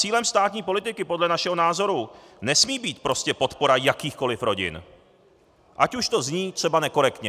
Cílem státní politiky podle našeho názoru nesmí být prostě podpora jakýchkoliv rodin, ať už to zní třeba nekorektně.